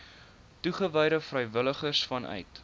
toegewyde vrywilligers vanuit